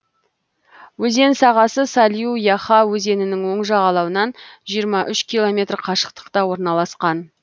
өзен сағасы салю яха өзенінің оң жағалауынан жиырма үш километр қашықтықта орналасқан